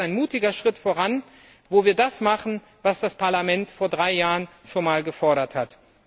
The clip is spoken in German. Ich glaube, das ist ein mutiger Schritt voran, wo wir das machen, was das Parlament vor drei Jahren schon einmal gefordert hat.